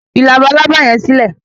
fí Labalábá yén silẹ!